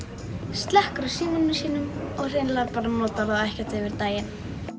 slekkur á símanum og hreinlega notar hann ekkert yfir daginn